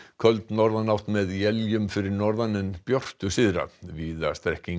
köld norðanátt með éljum fyrir norðan en björtu syðra víða strekkingur